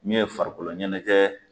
min ye farikoloɲɛnɛjɛ